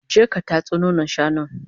je ka tatso nonon shanun!